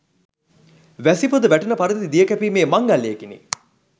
වැසි පොද වැටෙන පරිදි දිය කැපීමේ මංගල්‍යයකිනි.